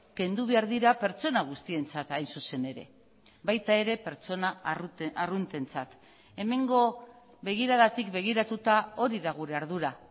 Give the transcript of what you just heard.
kendu behar dira pertsona guztientzat hain zuzen ere baita ere pertsona arruntentzat hemengo begiradatik begiratuta hori da gure ardura